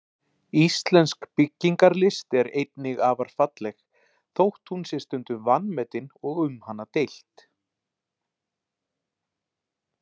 Íslensk byggingarlist er einnig afar falleg, þótt hún sé stundum vanmetin og um hana deilt.